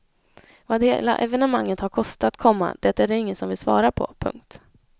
Vad hela evenemanget har kostat, komma det är det ingen som vill svara på. punkt